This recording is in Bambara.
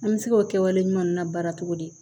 An bɛ se k'o kɛwale ɲuman na baara cogo di